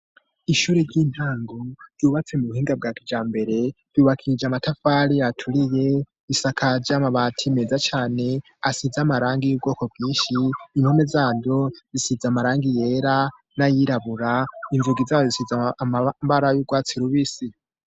Ishure ry'intango ryubatse mu buhinga bwa kijambere, ryubakishije amatafari aturiye, isakaje amabati meza cane asize amarangi y'ubwoko bwinshi, impome zayo zisize amarangi yera n'ayirabura, inzugi zayo zisize amabara y'urwatsi rubisi.